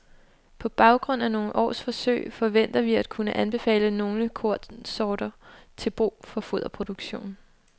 På baggrund af nogle års forsøg forventer vi at kunne anbefale nogle kornsorter til brug for foderproduktion.